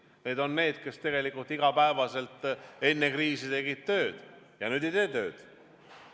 Need on need, kes iga päev enne kriisi tegid tööd ja nüüd ei tee tööd.